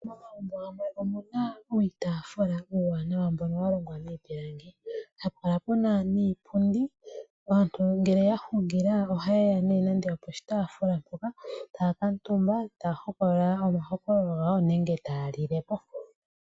Momagumbo gamwe omuna uutaafula uuwanawa mbono walongwa miipilangi hapu kala puna niipundi , aantu ngele yahungila ohayeya nee nando oposhitaafula mpoka taakatumba taa hokolola omahokololo gawo nenge taalilepo.